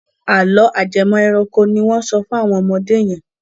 Àlọ́ ajẹmọ́-ẹranko ni wọ́n ń sọ fún àwọn ọmọdé yẹn.